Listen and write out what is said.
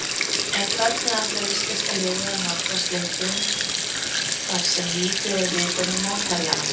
En hvernig ætlar íslenska liðið að nálgast leikinn þar sem lítið er vitað um mótherjana?